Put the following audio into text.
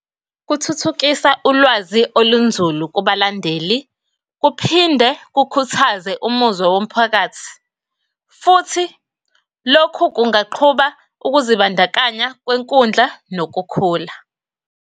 Kuthuthukisa ulwazi olunzulu kubalandeli, kuphinde kukhuthaze umuzwa womphakathi. Futhi lokhu kungaqhuba ukuzibandakanya kwenkundla nokukhula.